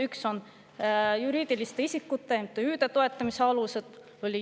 Üks neist on juriidiliste isikute, MTÜ-de toetamise alused.